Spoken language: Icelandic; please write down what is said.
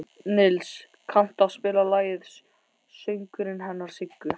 Nils, kanntu að spila lagið „Söngurinn hennar Siggu“?